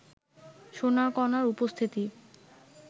সোনার কণার উপস্থিতি